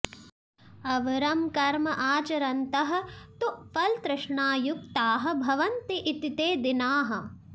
अवरं कर्म आचरन्तः तु फलतृष्णायुक्ताः भवन्ति इति ते दीनाः